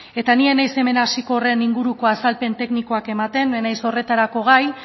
eta ni ez naiz hemen hasiko horren inguruko azalpen teknikoak ematen ez naiz horretarako gai